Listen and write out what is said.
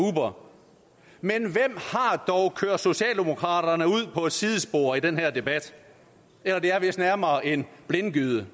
har dog kørt socialdemokraterne ud på et sidespor i den her debat eller det er vist nærmere en blindgyde